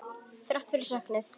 Þrátt fyrir söknuð.